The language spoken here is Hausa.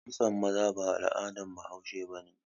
Kitson maza ba al'adan bahaushe ba ne.